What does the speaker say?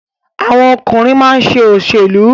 Àwọn ọkùnrin máa ń ṣe òṣèlú.